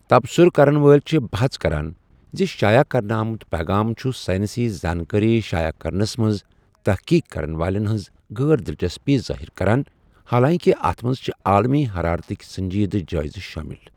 تبصُرٕ کَرن وٲلۍ چھِ بحث کَران زِ شایع کرنہٕ آمٕتۍ پیغام چھِ ساینٔسی زانٛکٲری شایع کرنس منٛز تحقیٖق کَرن والیٚن ہِنٛز غٲر دِلچسپی ظٲہِر کَران، حالانٛکہِ اتھ منٛز چھٕ عالمی حَرارتٕکۍ سٔنٛجیٚدٕ جٲیزٕ شٲمِل۔